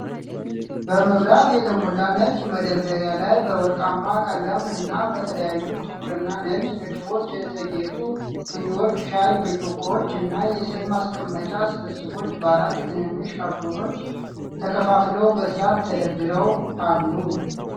በመብራት በተሞላ ነጭ መደርደሪያ ላይ፣ በወርቃማ ቀለምና በተለያዩ ጥቁርና ነጭ ንድፎች የተጌጡ ስኒዎች፣ ሻይ ብርጭቆዎች እና የስኒ ማስቀመጫስብስቦች በአራት ትንንሽ ካርቶኖች ተከፋፍለው በሥርዓት ተደርድረው አሉ።